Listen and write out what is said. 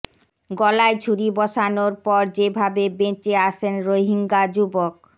গলায় ছুরি বসানোর পর যেভাবে বেঁচে আসেন রোহিঙ্গা যুবক